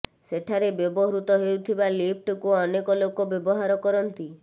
ସେଠାରେ ବ୍ୟବହୃତ ହେଉଥିବା ଲିଫ୍ଟକୁ ଅନେକ ଲୋକ ବ୍ୟବହାର କରନ୍ତି